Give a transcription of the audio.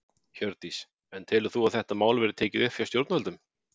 Hjördís: En telur þú að þetta mál verði tekið upp hjá stjórnvöldum?